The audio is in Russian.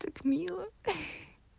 так мило